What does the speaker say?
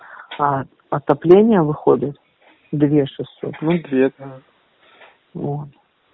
отопление выходит две шестьсот не две да вот